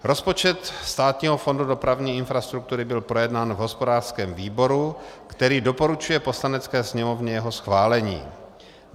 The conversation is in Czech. Rozpočet Státního fondu dopravní infrastruktury byl projednán v hospodářském výboru, který doporučuje Poslanecké sněmovně jeho schválení.